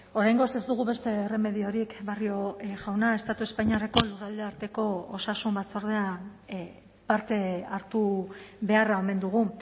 oraingoz ez dugu beste erremediorik barrio jauna estatu espainiarreko lurraldearteko osasun batzordean parte hartu beharra omen dugu